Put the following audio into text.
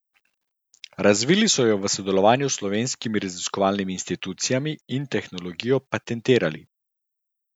Razvili so jo v sodelovanju s slovenskimi raziskovalnimi institucijami in tehnologijo patentirali.